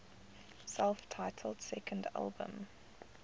self titled second album